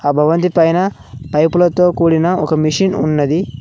ఆ భవంతి పైన పైపులతో కూడిన ఒక మెషిన్ ఉన్నది.